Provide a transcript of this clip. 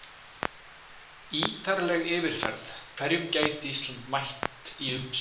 Ítarleg yfirferð: Hverjum gæti Ísland mætt í umspili?